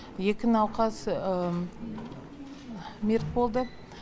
екі науқас мерт болды